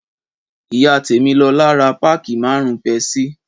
Ìyá tẹmilola rà pàkí màárún pẹsìí.